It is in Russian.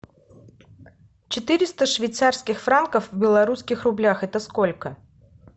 четыреста швейцарских франков в белорусских рублях это сколько